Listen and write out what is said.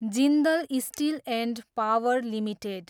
Jindal steel and power limited